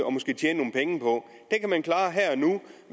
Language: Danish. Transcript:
og måske tjene nogle penge på